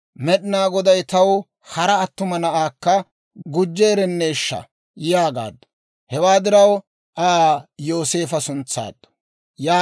Med'ina Goday taw hara attuma na'aakka gujjeerenneeshsha» yaagaaddu. Hewaa diraw Aa Yooseefo suntsaaddu.